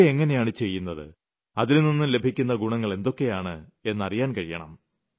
യോഗ എങ്ങനെയാണ് ചെയ്യുന്നത് അതിൽ നിന്നും ലഭിക്കുന്ന ഗുണങ്ങൾ എന്തൊക്കെയാണ് എന്നറിയാൻ കഴിയണം